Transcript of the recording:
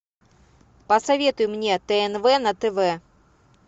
посоветуй мне тнв на тв